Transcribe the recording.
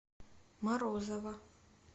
морозова